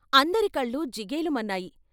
అందరికళ్ళు జిగేలుమన్నాయి.